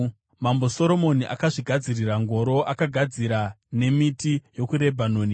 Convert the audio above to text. Mambo Soromoni akazvigadzirira ngoro; akaigadzira nemiti yokuRebhanoni.